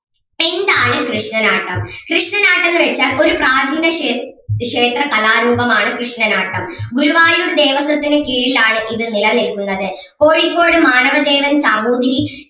എന്താണ് കൃഷ്ണനാട്ടം കൃഷ്ണനാട്ടം എന്ന് വെച്ചാൽ ഒരു പ്രാചീന കേ ക്ഷേത്ര കലാരൂപം ആണ് കൃഷ്ണനാട്ടം ഗുരുവായൂർ ദേവസത്തിന് കീഴിൽ ആണ് ഇത് നിലനിൽക്കുന്നത് കോഴിക്കോട് മാനവദേവൻ സാമൂതിരി